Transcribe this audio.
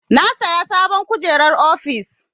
Na saya sabon kujerar ofis.